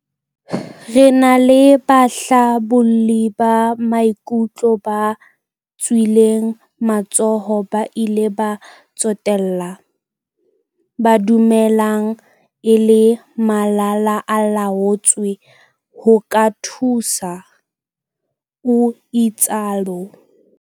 Re na le bahlabolli ba maikutlo ba tswileng matsoho ba bile ba tsotella, ba dulang e le malala-a-laotswe ho ka thusa, o itsalo.